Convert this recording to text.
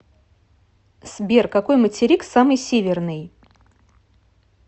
сбер какой материк самый северный